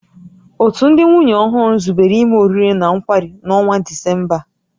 Òtù ndị nwunye ọhụrụ zubere ime oriri na nkwari n'ọnwa Disemba a